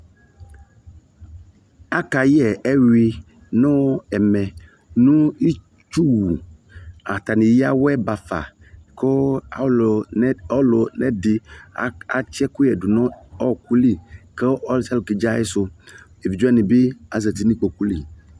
aka yɛ ɛyui nu ɛmɛ nu itshu wu ata ni eya awɛ bafa ku ɔlu nɛ di atchi ɛku yɛ du nu ɔku li ku ɔlu suia lu ke dƶi a yi su evidƶe wani bi azati nu kpoku li